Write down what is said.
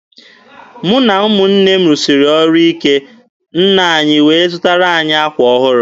Mụ na ụmụnne m rụsiri ọrụ ike, nne anyị wee zụtara anyị akwa ọhụrụ.